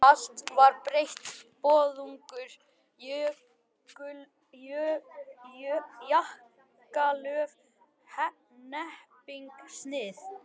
Allt var breytt, boðungar, jakkalöf, hnepping, snið.